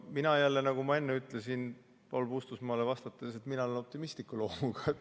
Mina, nagu ma enne ütlesin Paul Puustusmaale vastates, olen optimistliku loomuga.